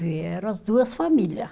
Vieram as duas família